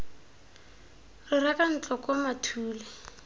re reka ntlo koo mathule